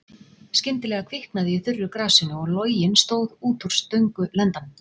Skyndilega kviknaði í þurru grasinu og loginn stóð út úr stöngulendanum.